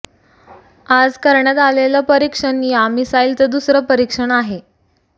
आज करण्यात आलेलं परिक्षण या मिसाईलचं दुसरं परिक्षण आहे